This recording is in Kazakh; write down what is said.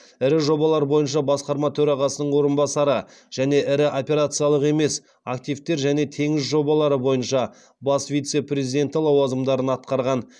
ірі жобалар бойынша басқарма төрағасының орынбасары және ірі операциялық емес активтер және теңіз жобалары бойынша бас вице президенті лауазымдарын атқарған